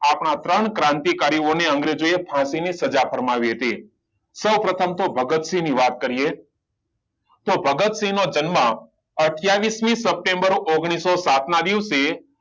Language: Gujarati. આ ત્રણ ક્રાંતિકારી ઓ ને અંગ્રેજોએ ફાંસી ની સજા ફરમાવી હતી સૌ પ્રથમ તો ભગતસિંહ ની વાત કરીયે તો ભગતસિંહ નો જન્મ અઠયાવીસ મી સપ્ટેમ્બર ઓગણીસો સાત ના દિવસે